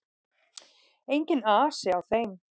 Enginn asi á þeim.